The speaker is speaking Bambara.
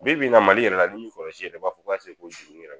Bi bi in na Mali yɛrɛ la n'i kɔlɔsi i yɛrɛ b'a fɔ ko ase ko su yɛrɛ